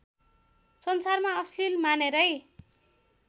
संसारमा अश्लील मानेरै